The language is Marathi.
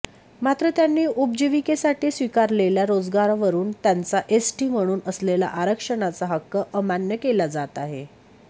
मात्र त्यांनी उपजीविकेसाठी स्वीकारलेल्या रोजगारावरून त्यांचा एसटी म्हणून असलेला आरक्षणाचा हक्क अमान्य केला जात आहे